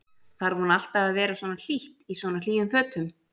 Þarf hún alltaf að vera svona hlýtt, í svona hlýjum fötum?